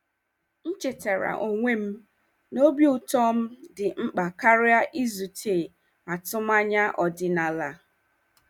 M chetaara onwe m na obi ụtọ m dị mkpa karịa izute atụmanya ọdịnala.